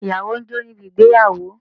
Ìyàwó ń jó níbi ìgbéyàwó